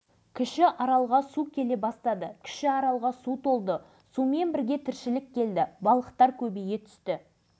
шешті дегенге бүгінде көпшілікті сендіре қоюдың өзі қиын-ау ол өз идеясын осылай дәлелдеп шыққан